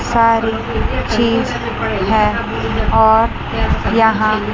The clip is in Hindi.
सारी चीज है और यहां।